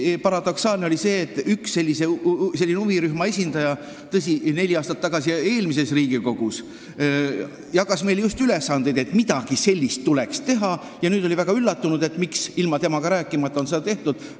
Eriti paradoksaalne oli see, et üks huvirühma esindaja – tõsi, ta tegi seda neli aastat tagasi ja eelmises Riigikogus – on meile jaganud ülesandeid, et midagi sellist tuleks teha, aga nüüd oli ta väga üllatunud, et miks ilma temaga rääkimata on seda tehtud.